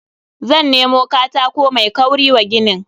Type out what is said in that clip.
Zan nemo katako mai kauri wa ginin.